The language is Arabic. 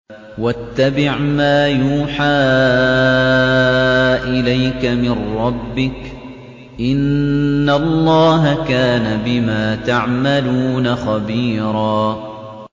وَاتَّبِعْ مَا يُوحَىٰ إِلَيْكَ مِن رَّبِّكَ ۚ إِنَّ اللَّهَ كَانَ بِمَا تَعْمَلُونَ خَبِيرًا